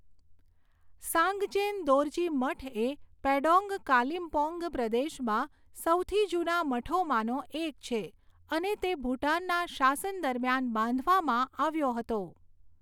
સાંગચેન દોરજી મઠ એ પેડોંગ કાલિમપોંગ પ્રદેશમાં સૌથી જૂના મઠોમાંનો એક છે અને તે ભૂટાનના શાસન દરમિયાન બાંધવામાં આવ્યો હતો.